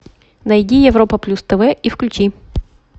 найди европа плюс тв и включи